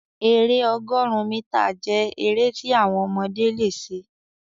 èrè ọgọrun mítà jẹ èrè ti àwọn ọmọdé lẹ ṣe.